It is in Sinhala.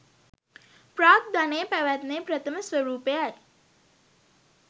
ප්‍රාග්ධනයේ පැවැත්මේ ප්‍රථම ස්වරූපයයි